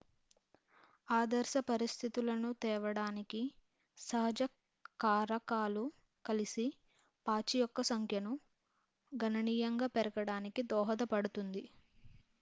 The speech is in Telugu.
ఆదర్శ పరిస్థితులను తేవడానికి సహజ కారకాలు కలిసి పాచి యొక్క సంఖ్యను గణనీయంగా పెరగడానికి దోహదపడుతుంది